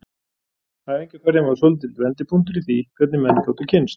Æfingaferðin var svolítill vendipunktur í því hvernig menn gátu kynnst.